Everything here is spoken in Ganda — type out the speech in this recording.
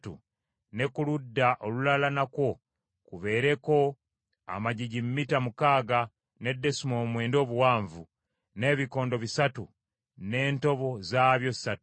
ne ku ludda olulala nakwo kubeereko amagigi mita mukaaga ne desimoolo mwenda obuwanvu, n’ebikondo bisatu n’entobo zaabyo ssatu.